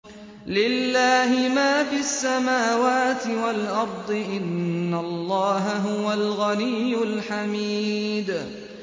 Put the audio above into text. لِلَّهِ مَا فِي السَّمَاوَاتِ وَالْأَرْضِ ۚ إِنَّ اللَّهَ هُوَ الْغَنِيُّ الْحَمِيدُ